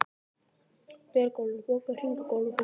Björgúlfur, bókaðu hring í golf á fimmtudaginn.